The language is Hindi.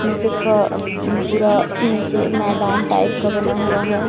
नीचे फ पूरा नीचे मैदान टाइप का बना हुआ है।